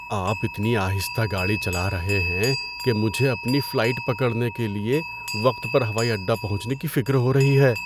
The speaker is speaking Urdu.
آپ اتنی آہستہ گاڑی چلا رہے ہیں کہ مجھے اپنی فلائٹ پکڑنے کے لیے وقت پر ہوائی اڈہ پہنچنے کی فکر ہو رہی ہے۔